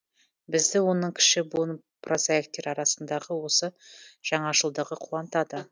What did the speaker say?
бізді оның кіші буын прозаиктері арасындағы осы жаңашылдығы қуантады